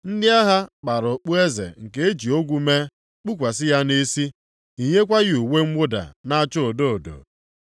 Ndị agha kpara okpueze nke e ji ogwu mee, kpukwasị ya nʼisi, yinyekwa ya uwe mwụda na-acha odo odo.